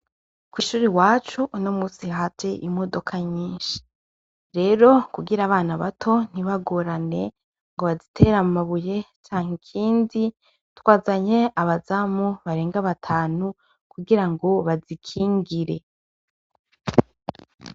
Kw'ishure iwacu uno musi haje imodoka nyinshi. Rero kugira abana bato ntibagorane ngo bazitere amabuye canke ikindi, twazanye abazamu barenga batanu kugira ngo bazikingire.